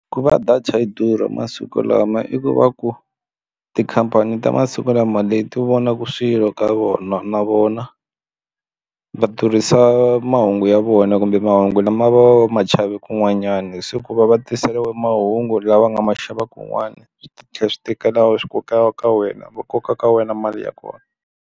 Ku va data yi durha masiku lama i ku va ku tikhampani ta masiku lama leti vonaku swilo ka vona na vona va durhisa mahungu ya vona kumbe mahungu lama va ma kun'wanyani hi siku va va tiseriwa mahungu lama nga ma xava kun'wana swi tlhela swi tekela swi koka ka wena va koka ka wena mali ya kona.